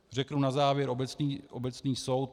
Řeknu na závěr obecný soud.